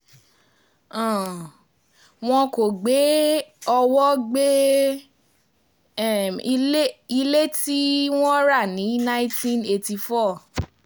um wọn kò gbé owó gbé um ilé tí um wọ́n rà ní nineteen eighty four